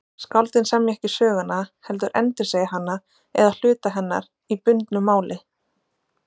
Skáldin semja ekki söguna heldur endursegja hana eða hluta hennar í bundnu máli.